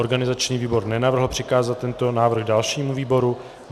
Organizační výbor nenavrhl přikázat tento návrh dalšímu výboru.